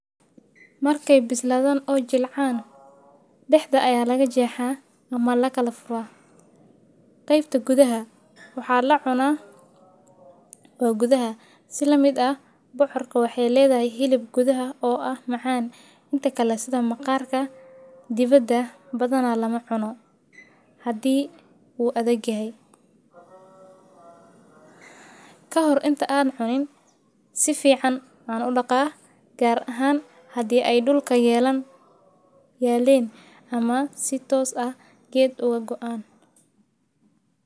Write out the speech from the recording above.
Markay ay bisladhan oo jilcaan daxda aya lagajexa ama lakafura qeybta gudhaha waxa lucuna oo gudhaha si lamiid ah bocorka, waxay ladhedhay hilab gudhaha oo macan, inta kale sidha maqarka debada badhan lamacuno hadii uu udhag yahay kahor intaa an cuniin saficiin an udaqaa gaar ahan hadii ay dulka yeleen ama si toos ah geed ugagoen.